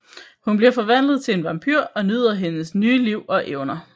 Hun bliver forvandlet til en vampyr og nyder hendes nye liv og evner